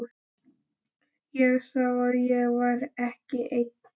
Ég sá að ég var ekki einn.